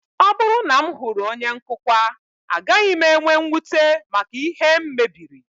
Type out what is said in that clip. Ọ bụrụ na m hụrụ onye nkụkwa, agaghị m enwe mwute maka ihe m mebiri